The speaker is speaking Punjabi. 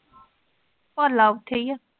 ਭਾਲਾ ਉਥੇ ਹੀ ਆ।